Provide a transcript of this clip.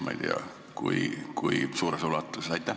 Aitäh!